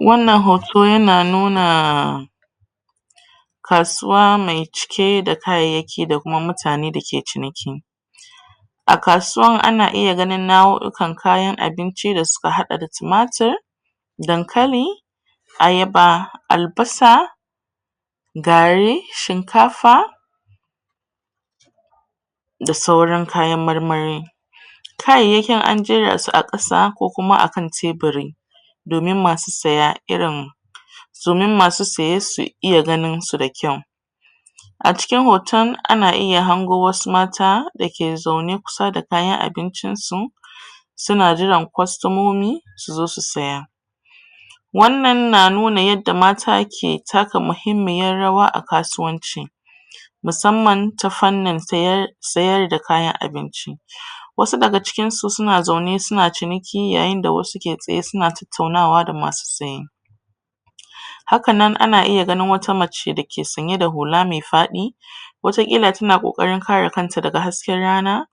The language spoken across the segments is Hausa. Wannan hoto ya na nuna kasuwa mai cike da kayayyaki da kuma mutane dake ciniki. A kasuwan ana iya ganin nau'u'ukan kayan abinci da su ka haɗa da tumatir, dankali, ayaba, albasa, gari, shinkafa, da sauran kayan marmari. Kayayyakin an jera su a ƙasa ko kuma akan teburi domin masu saya irin domin masu saye su iya ganin su da kyau. A cikin hoton ana iya hango wasu mata dake zaune kusa da kayan abincin su. Su na jiran kwastomomi su zo su saya. Wannan na nuna yadda mata ke taka muhimmiyar rawa a kasuwanci. Musamman ta fannin sayar sayar da kayan abinci. Wasu daga cikinsu su na zaune su na ciniki, yayin da wasu ke tsaye su na tattaunawa da masu saye. Haka nan ana iya ganin wata mace dake sanye da hula mai faɗi wataƙila ta na ƙoƙarin kare kanta daga hsaken rana.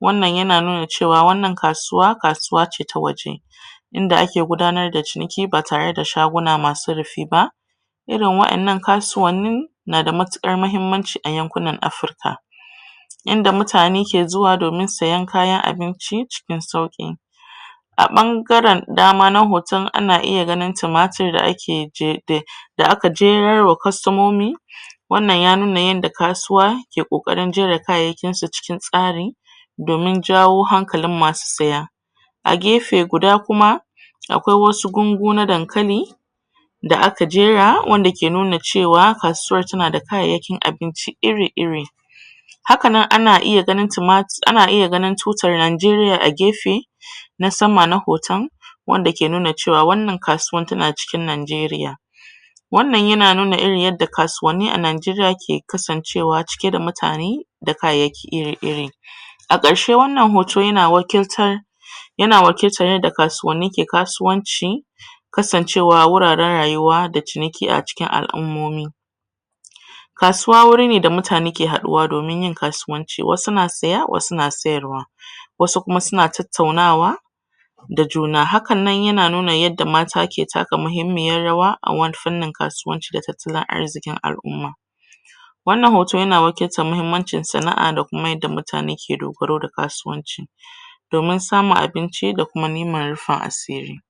Wannan ya na nuna cewa wannan kasuwa, kasuwa ce ta waje. Inda ake gudanar da ciniki ba tare da shaguna masu rufi ba. Irin wa'annan kasuwanni na da matuƙar mahimmanci a yankunan Afirika. Inda mutane ke zuwa domin sayen kayan abinci cikin sauƙi. A ɓangaren dama na hoton ana iya ganin tumatir a da ake da ak jerar wa kwastomomi wannan ya nuna yadda kasuwa ke ƙoƙarin jera kayayyakin su cikin tsari, domin jawo hankalin masu saya. A gefe duda kuma akwai wasu gwango na dankali da aka jera wanda ke nuna cewa kasuwar ta na da kayan abinci iri-iri. Hakan nan ana iya ganin tumat ana iya ganin tutar Najeriya a gefe na sama na hoton wanda ke nuna cewa wannan kasuwan ta na cikin Najeriya. Wannan ya na nuna irin yadda kasuwanni a cikin Najeriya ke kasancewa ciki da mutane da kayayyaki iri A ƙarshe wannan hoto ya na wakiltar ya na wakiltar yadda kasuwanni ke kasuwanci kasancewa wuraren rayuwa da ciniki a al'ummomi. Kasuwa wuri ne da mutane ke haɗuwa domin yin kasuwaci, wasu na saya wasu na sayarwa wasu kuma su na tattaunawa da juna. Hakan nan ya na nuna yadda mata ke taka muhimmiyar rawa a wani fannin kasuwanci da tattalin arziƙin al'umma. Wannan hoto ya na wakiltar muhimmancin sa'a da kuma yadda mutane su ke dogaro da kasuwanci, domin samun abinci da kuma neman rufin asiri.